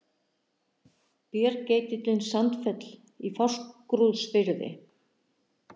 Bergeitillinn Sandfell í Fáskrúðsfirði.